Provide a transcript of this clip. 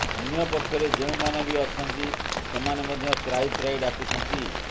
ଅନ୍ୟ ପକ୍ଷରେ ଯେଉଁମାନେ ବି ଅଛନ୍ତି ସେମାନେ ମଧ୍ୟ ତ୍ରାହି ତ୍ରାହି ଡାକୁଛନ୍ତି